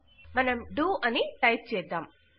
ఇపుడు మనం డో అని టైప్ చేద్దాం